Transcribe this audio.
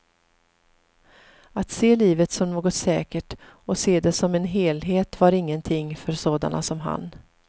Att se livet som något säkert och att se det som en helhet var ingenting för sådana som han.